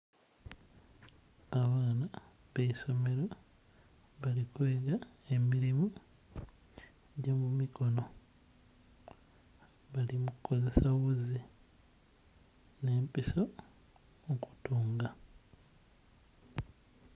Abaana b'eisomero bali kwega emilimu gy'omumikono. Bali mu kukozesa ghuzi n'empiso okutunga.